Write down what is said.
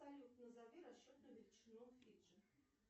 салют назови расчетную величину фиджи